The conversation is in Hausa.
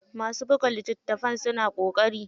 Masu buga litattafai suna ƙoƙari.